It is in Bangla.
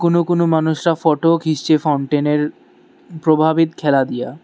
কোনো কোনো মানুষরা ফটো ও খিচছে ফাউন্টেন এর প্রভাবিত খেলা দিয়া।